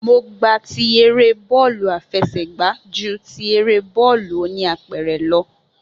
Mo gba ti eré bọ́ọ̀lù àfẹsẹ̀gba ju ti eré bọ́ọ̀lù oníapẹ̀rẹ̀ lọ